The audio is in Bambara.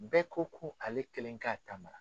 Bɛɛ ko ko ale kelen k'a ta ma